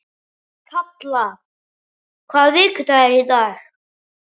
Kalla, hvaða vikudagur er í dag?